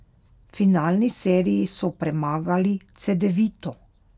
V finalni seriji so premagali Cedevito.